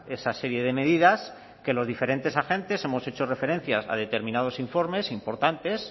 esa serie de medidas que los diferentes agentes hemos hecho referencia a determinados informes importantes